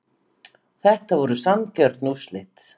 Þetta voru sanngjörn úrslit